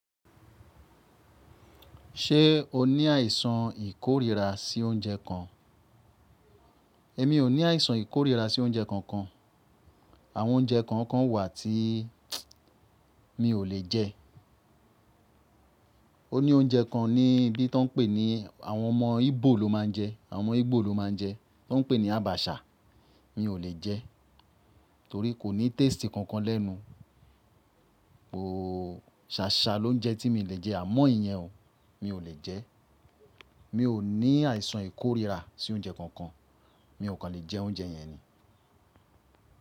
Ṣé o ní àìsàn ìkórira sí oúnjẹ kan? Èmi ò ní àìsàn ìkórira sí oúnjẹ kankan. Àwọn oúnjẹ kọ̀ọ̀kan wà tí mi ò lè jẹ. Ó ní oúnjẹ kan níbí tó ń pè ní àwọn ọmọ Ígbò ló máa ń jẹ. Àwọn ọmọ Ígbò ló máa ń jẹ. Tón pè ní àbàṣà. Mi ò lè jẹ torí kò ní taste kankan lẹ́nu. Oòóò, ṣáṣá ló ń jẹ́ tí mi lè jẹ àmọ́ ìyẹn o, mi ò lè jẹ. Mi ò ní àìsàn ìkórira sí oúnjẹ kankan. Mi ò kàn lè jẹ oúnjẹ yẹn ni.